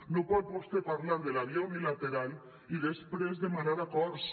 no pot vostè parlar de la via unilateral i després demanar acords